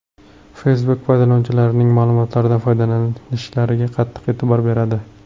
Facebook foydalanuvchilarining ma’lumotlaridan foydalanishlariga qattiq e’tibor beradi.